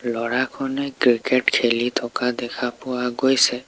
ল'ৰাখনে cricket খেলি থকা দেখা পোৱা গৈছে।